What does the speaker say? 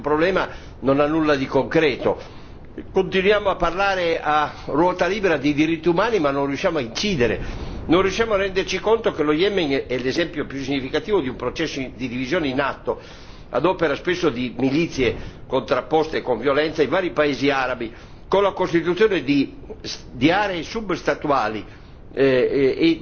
Continuiamo a parlare a ruota libera di diritti umani, ma non riusciamo a incidere, non riusciamo a renderci conto che lo Yemen è l'esempio più significativo di un processo di divisione in atto ad opera spesso di milizie contrapposte con violenza in vari paesi arabi, con la costituzione di aree substatuali e di agglomerati di tipo comunitario.